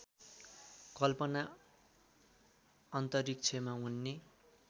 कल्पना अन्तरिक्षमा उड्ने